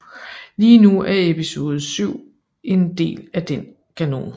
Lige nu er Episode VII en del af den kanon